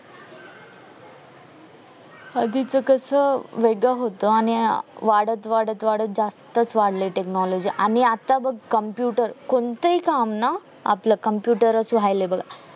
आधी च कस अं वेगडच होत आणि वाढत वाढत जास्तच वाढलाय technology आणि आता बग computer कोणताही काम ना आपलं computer हाय